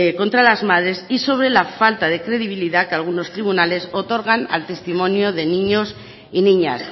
contra las madres y sobre la falta de credibilidad que algunos tribunales otorgan al testimonio de niños y niñas